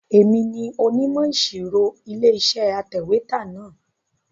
Èmi ni onímọ̀ ìṣirò Ilé-iṣẹ́ atẹ̀wétà náà.